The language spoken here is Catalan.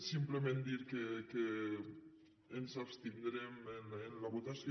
simplement dir que ens abstindrem en la votació